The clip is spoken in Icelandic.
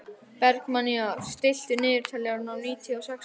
Bergmannía, stilltu niðurteljara á níutíu og sex mínútur.